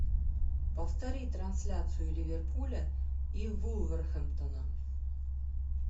повтори трансляцию ливерпуля и вулверхэмптона